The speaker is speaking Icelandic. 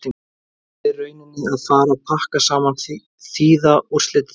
Eruð þið í rauninni að fara pakka saman, þýða úrslitin það?